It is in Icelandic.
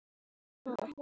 Til þess kom þó ekki.